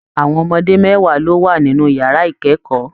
Àwọn ọmọdé mẹwa ló wà nínú yàrá ikẹkọọ.